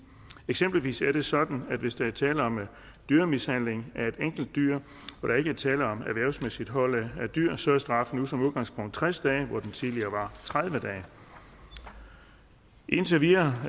eksempelvis er det sådan at hvis der er tale om dyremishandling af et enkelt dyr og der ikke er tale om erhvervsmæssigt hold af dyr så er straffen nu som udgangspunkt tres dage hvor den tidligere var tredive dage indtil videre